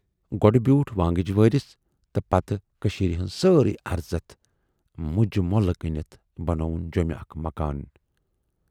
گۅڈٕ بیوٗٹھ وانگِج وٲرِس تہٕ پتہٕ کٔشیٖرِ ہٕنز سٲرٕے ارزتھ مُجہِ مٔلۍ کٕنِتھ بنووُن جٮ۪مہِ اکھ مکان۔